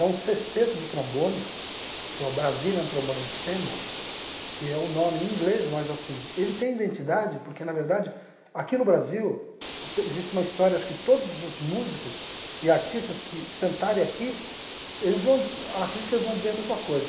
É um cesteto de trombones, que é o Brazilian Trombone Ensemble, que é um nome em inglês, mas assim, ele tem identidade, porque, na verdade, aqui no Brasil, existe uma história, acho que todos os músicos e artistas que sentarem aqui eles vão, acredito que eles vão dizer a mesma coisa.